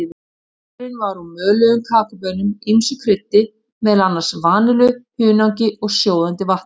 Drykkurinn var úr möluðum kakóbaunum, ýmsu kryddi, meðal annars vanillu, hunangi og sjóðandi vatni.